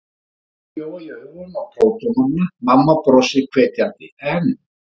Um leið gjóa ég augum á prófdómarana: mamma brosir hvetjandi en